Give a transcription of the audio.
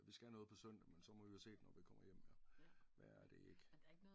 Vi skal noget på søndag men så må vi jo se den når vi kommer hjem jo værre er det ikke